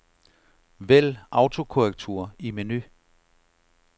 Vælg autokorrektur i menu.